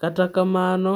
Kata kamano,